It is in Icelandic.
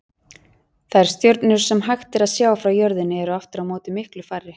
Þær stjörnur sem hægt er að sjá frá jörðinni eru aftur á móti miklu færri.